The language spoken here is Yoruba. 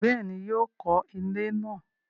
Bẹ́ẹ̀ni, yóò kọ ilẹ́ náà